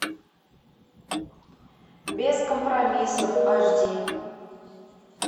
без компромиссов аш ди